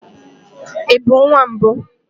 Ị bụ nwa mbụ?